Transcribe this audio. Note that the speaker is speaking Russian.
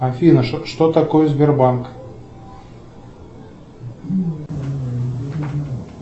афина что такое сбербанк